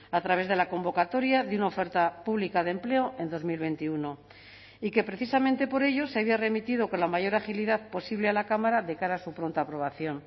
a través de la convocatoria de una oferta pública de empleo en dos mil veintiuno y que precisamente por ello se había remitido con la mayor agilidad posible a la cámara de cara a su pronta aprobación